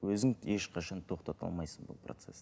өзің ешқашан тоқтата алмайсың бұл процессті